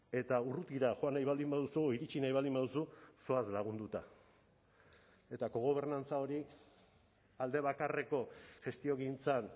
eta urrutira joan nahi baldin baduzu iritsi nahi baldin baduzu zoaz lagunduta eta kogobernantza hori aldebakarreko gestiogintzan